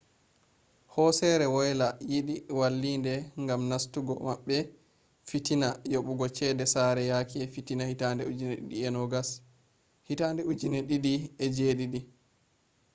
hosere woyla yidi vallinde gam nastugo mabbe fitina yobugo cede sare yake fitina 2007